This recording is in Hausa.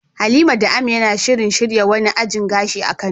Halima da Amina na shirin shirya wani ajin gashi a kano.